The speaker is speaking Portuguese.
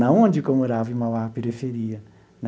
Não onde que eu morava, em Mauá, periferia né.